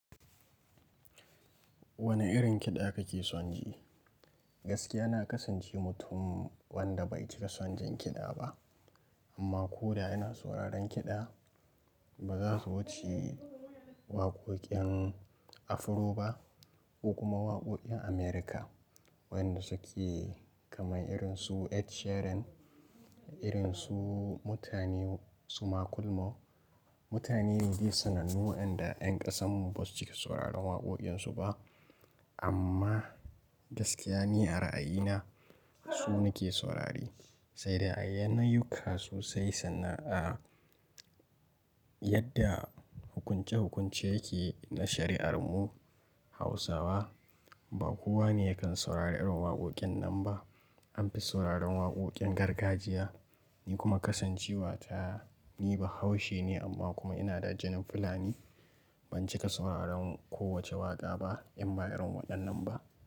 Wane irin kiɗa kake son ji? Gaskiya na kasance mutum wanda bai cika son jin kiɗa ba amma ko da ina sauraron kiɗa ba za su wuce waƙoƙin Afro ba ko kuma waƙoƙin America wanda suke kaman irin su Ed Sheeran, irin su mutane suma kulmo. Mutane biyu sanannu waɗanda 'yan ƙasanmu basu cika sauraron waƙoƙinsu ba amma gaskiya ni a ra'ayina su nake saurare. Sai dai a yanayin kasu sai sana'a yadda hukunce hukunce yake na shari'ar mu Hausawa ba kowa ne yakan saurari irin waƙoƙin nan ba. An fi sauraron waƙoƙin gargajiya. Ni kuma kasancewa ta ni bahaushe ne amma kuma inada jinin Fulani. Ban cika sauraron kowace waƙa ba inba irin waɗannan ba.